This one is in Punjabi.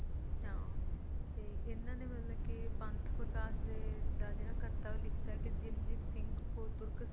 ਹਾਂ ਤੇ ਇਨ੍ਹਾਂ ਨੇ ਮਤਲਬ ਕੇ ਪੰਥ ਪ੍ਰਕਾਸ਼ ਦੇ ਦਾ ਜਿਹੜਾ ਖਾਤਾ ਉਹ ਲਿਖ ਤਾ ਕਿ ਜਿਨ ਜਿਨ ਸਿੰਘ ਕੋ ਤੁਰਕ ਸਤਾਵੇ